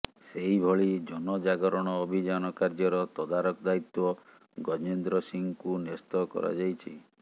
ସେହିଭଳି ଜନଜାଗରଣ ଅଭିଯାନ କାର୍ଯ୍ୟର ତଦାରଖ ଦାୟିତ୍ୱ ଗଜେନ୍ଦ୍ର ସିଂହଙ୍କୁ ନ୍ୟସ୍ତ କରାଯାଇଛି